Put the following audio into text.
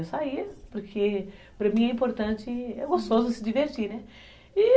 Eu saía porque para mim é importante, é gostoso se divertir, né?